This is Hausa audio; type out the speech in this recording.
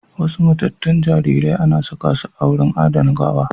Wasu matattun jaririrai anasakasu a wurin adana gawa